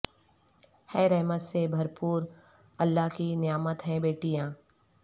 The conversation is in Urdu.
ہے رحمت سے بھر پو ر اللہ کی نعمت ہیں بیٹیاں